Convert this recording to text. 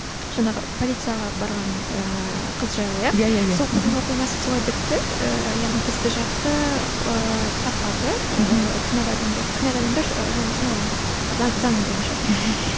жаңағы полицияға барған ііі қыз жайлы иә иә иә иә сол қыздың оқиғасы солай бітті ііі яғни істі жапты ііі таппады да ііі кінәлі адамдарды кінәлі адамдар жазасын алған жоқ заң бойынша